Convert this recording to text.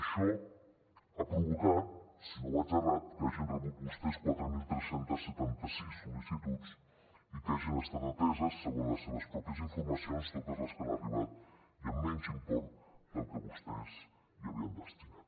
això ha provocat si no vaig errat que hagin rebut vostès quatre mil tres cents i setanta sis sol·licituds i que hagin estat ateses segons les seves pròpies informacions totes les que han arribat i amb menys import del que vostès hi havien destinat